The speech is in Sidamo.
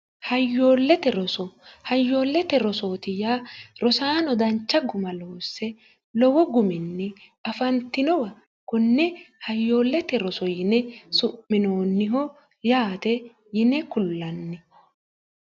hayyoollete roso hayyoollete rosootiya rosaano dancha guma loosse lowo guminni afantinowa kunne hayyoollete roso yine su'minoonniho yaate yine kullanni